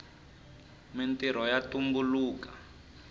mintrho ya tumbuluka